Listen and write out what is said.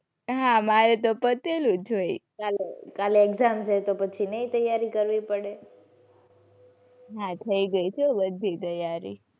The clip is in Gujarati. હાં મારે તો પતેલુ જ હોય. કાલે કાલે exam છે તો પછી નહીં તૈયારી કરવી પડે. હાં થઈ ગઈ છે હો બધી તૈયારી.